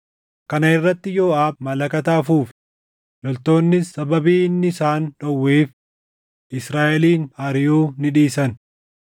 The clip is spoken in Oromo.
Kana irratti Yooʼaab malakata afuufe; loltoonnis sababii inni isaan dhowweef Israaʼelin ariʼuu ni dhiisan.